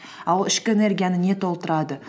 а ол ішкі энергияны не толтырады